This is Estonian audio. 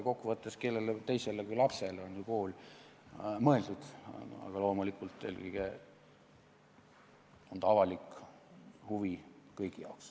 Kokkuvõttes, kellele teisele kui lapsele on ju kool mõeldud, aga loomulikult on ta kõigi jaoks avalik huvi.